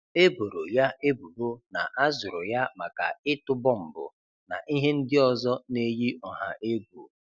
E boro ya ebubo na a zụrụ ya maka ịtụ bọmbụ na ihe ndị ọzọ na-eyi ọha egwu.